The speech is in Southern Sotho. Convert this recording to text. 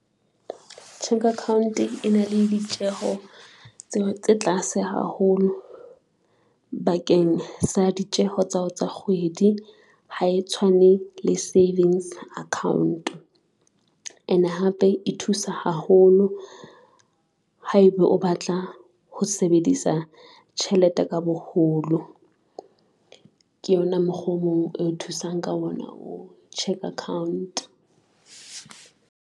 Cheque account e na le ditjeho tse tlase haholo bakeng sa ditjeho tsa hao tsa kgwedi. Ha e tshwane le savings account ene hape e thusa haholo haeba o batla ho sebedisa tjhelete ka boholo. Ke yona mokgoo mong eo thusang ka ona o cheque account.